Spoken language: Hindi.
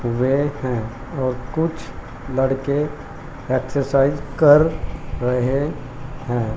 वेट हैं और कुछ लड़के एक्सरसाइज कर रहे हैं।